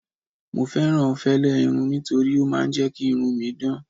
mo fẹràn fẹlẹ irun nitori o ma n je ki irun mi dan